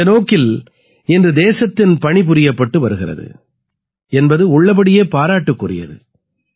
இந்த நோக்கில் இன்று தேசத்தின் பணி புரியப்பட்டு வருகிறது என்பது உள்ளபடியே பாராட்டுக்குரியது